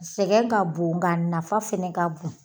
Sɛgɛ ka bon nka nafa fɛnɛ ka bon.